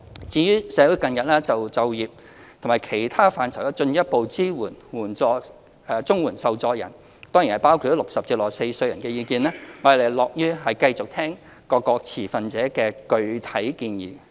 至於社會近日關注在就業及其他範疇上進一步支援綜援受助人，當然包括60至64歲人士的意見，我們樂於繼續聆聽各持份者的具體建議。